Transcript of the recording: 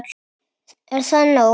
Er það nóg?